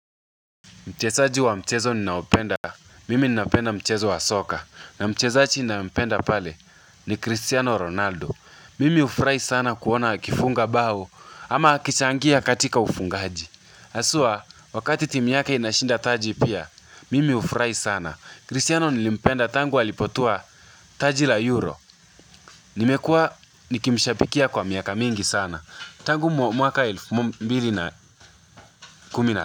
Mchezaji wa mchezo ninaopenda, mimi ninapenda mchezo wa soka, na mchezaji ninaependa pale ni Cristiano Ronaldo. Mimi ufurai sana kuona kifunga bao, ama akichangia katika ufungaji. Aswa, wakati timu yake inashinda taji pia, mimi ufurai sana. Cristiano nilimpenda tangu alipotua taji la euro. Nimekua nikimshabikia kwa miaka mingi sana. Tangu mwaka 2010.